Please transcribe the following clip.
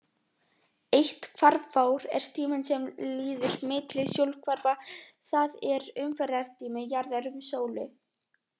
Eitt hvarfár er tíminn sem líður milli sólhvarfa, það er umferðartími jarðar um sólu.